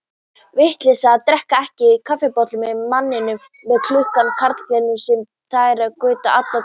Vitleysa að drekka ekki kaffibolla með manninum með klukkuna, karlanganum sem þræðir göturnar alla daga.